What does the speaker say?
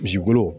Misikolo